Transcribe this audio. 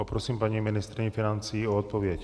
Poprosím paní ministryni financí o odpověď.